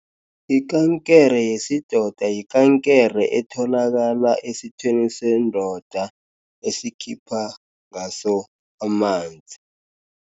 Ikankere yesidoda yikankere etholakala esithweni sendoda esikhipa ngaso amanzi.